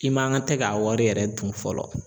I man ka tɛ k'a wari yɛrɛ dun fɔlɔ